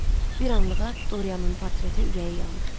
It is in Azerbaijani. Bir anlığa Doryanın portretə ürəyi yandı.